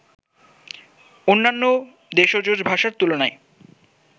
অন্যান্য দেশজ ভাষার তুলনায়